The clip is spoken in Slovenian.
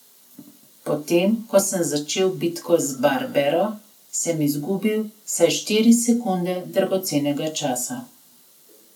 Potem ko sem začel bitko z Barbero, sem izgubil vsaj štiri sekunde dragocenega časa.